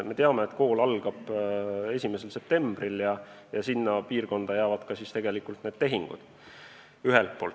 Me teame, et kool algab 1. septembril ja sellesse aega jäävad siis ka need tehingud.